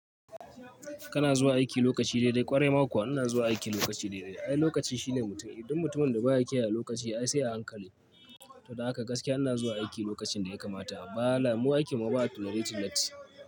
Kana zuwa aiki lokaci daidai kwarai ma kuwa ina zuwa aiki lokaci daidai. Ai lokacin shine mutum, dun mutumin da baya kiyaye lokaci ai sai a hankali. To don haka gaskiya ina zuwa aiki lokacin da ya kamata. Malam mu aiki mu ba a tolerating latti.